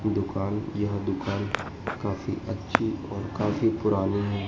दुकान यह दुकान काफी अच्छी और काफी पुरानी है।